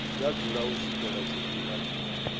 ya dzula u swikela tshifhinga